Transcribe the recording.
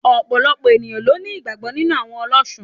Òpòlopò ènìyãn ló ní ìgbàgbó nínú àwon olósun